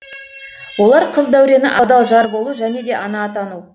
олар қыз дәурені адал жар болу және де ана атану